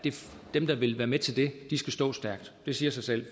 dem der vil være med til det skal stå stærkt det siger sig selv